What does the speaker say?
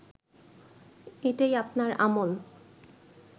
এটাই আপনার আমল